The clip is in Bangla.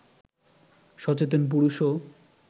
সচেতন পুরুষও